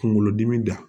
Kunkolodimi da